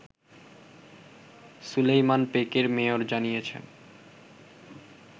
সুলাইমান পেকের মেয়র জানিয়েছেন